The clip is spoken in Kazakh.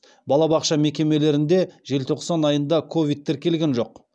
балабақша мекемелерінде желтоқсан айында ковид тіркелген жоқ